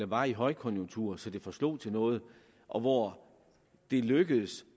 var i højkonjunktur så det forslog noget og hvor det lykkedes